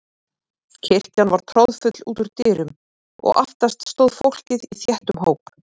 Kirkjan var troðfull út úr dyrum og aftast stóð fólkið í þéttum hóp.